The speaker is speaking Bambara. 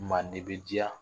Maa ne bɛ jia